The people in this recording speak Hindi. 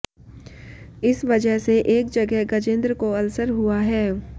इस वजह से एक जगह गजेंद्र को अल्सर हुआ है